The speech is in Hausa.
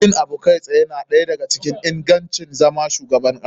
Yin abu kai tsaye na ɗaya da ga cikin ingancin zama shugaban kasa.